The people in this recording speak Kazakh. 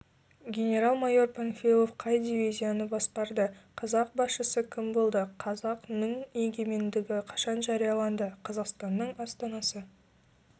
генерал-майор панфилов қай дивизияны басқарды қазақ басшысы кім болды қазақ нің егемендігі қашан жарияланды қазақстанның астанасы